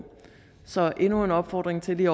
så det er endnu en opfordring til lige